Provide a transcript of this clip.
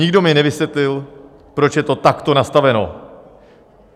Nikdo mi nevysvětlil, proč je to takto nastaveno.